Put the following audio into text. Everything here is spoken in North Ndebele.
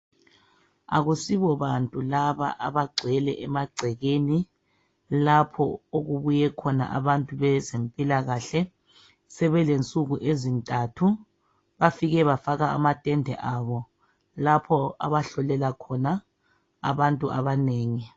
Akusibo bantu laba abagcwele emagcekeni lapho okubuye khona abantu bezempilakahle sebele nsuku ezintathu bafike bafaka amatende abo lapho abahlolela khona abantu abanengi.